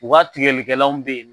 U ka tigɛlikɛlanw bɛ yen